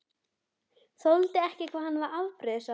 Þoldi ekki hvað hann var afbrýðisamur.